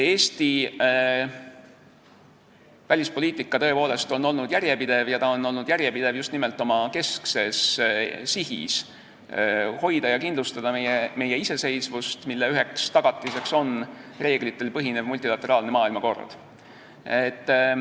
Eesti välispoliitika on tõepoolest olnud järjepidev ja ta on olnud järjepidev just nimelt oma keskses sihis hoida ja kindlustada meie iseseisvust, mille üheks tagatiseks on reeglitel põhinev multilateraalne maailmakord.